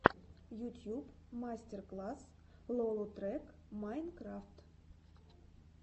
ютьюб мастер класс лолотрек майнкрафт